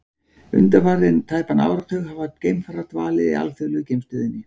Undanfarinn tæpan áratug hafa geimfarar dvalið í alþjóðlegu geimstöðinni.